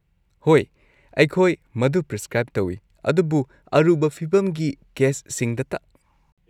ꯍꯣꯏ, ꯑꯩꯈꯣꯏ ꯃꯗꯨ ꯄ꯭ꯔꯤꯁꯀ꯭ꯔꯥꯏꯕ ꯇꯧꯏ, ꯑꯗꯨꯕꯨ ꯑꯔꯨꯕ ꯐꯤꯚꯝꯒꯤ ꯀꯦꯁꯁꯤꯡꯗꯇ꯫